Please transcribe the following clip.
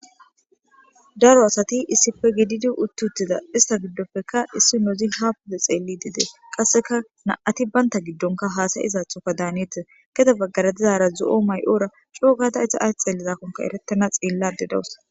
Daro asati issife gididi uttiuttida ista giddopfeka issi noozi hapude xeelli dide qasseka na'ati baynta giddonka haasayiizaathoka daaneete keda baggara dizara zo'o may'oora coogada eta ay xelizakkonka erettana xiillade dawus.